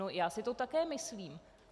No, já si to také myslím.